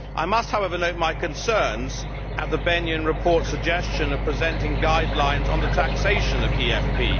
I must, however, note my concerns at the Bennion reportʼs suggestion of presenting guidelines on the taxation of EFP.